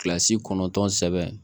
Kilasi kɔnɔntɔn sɛbɛn